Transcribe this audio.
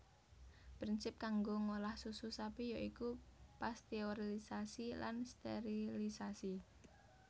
Prinsip kanggo ngolah susu sapi ya iku pasteurilisasi lan sterilisasi